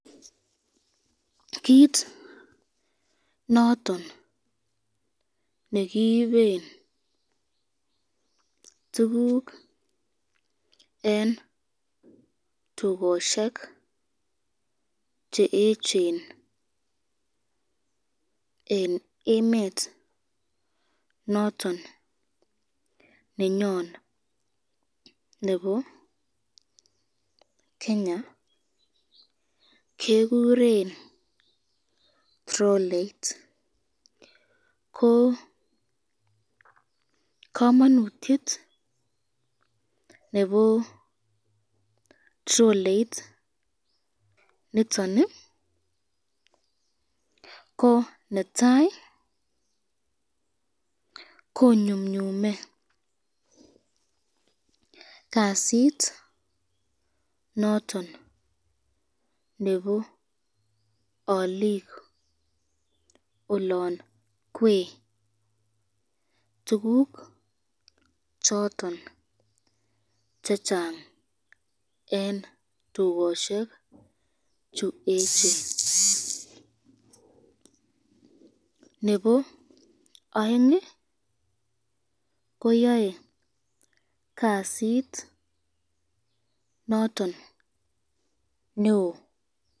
kit noton nekiiben tukuk eng tukoshek cheechen eng emet noton nenyon nebo Kenya kekuren ,troleit ,ko kamanutyet nebo troleit niton ,ko netai konyumnyume kasit noton nebo alik olon kwe tukuk choton chechang eng tukoshek chu echen, nebo aeng ko Yan kasit noton nebo.